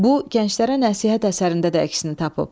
Bu, gənclərə nəsihət əsərində də əksini tapıb.